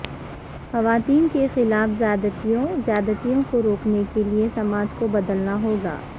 خواتین کے خلاف زیادتیوں زیادتیوں کو روکنے کیلئے سماج کو بدلنا ہوگا